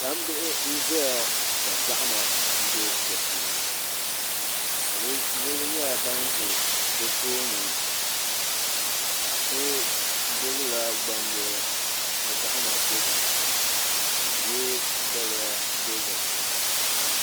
gbambiɣi n ʒeya ŋɔ ka zaɣima m-be di puuni niriba nyɛla ban ʒe di tooni paɣ' so gbibila gbambila ka zaɣima be dini ka o ye daliya dozim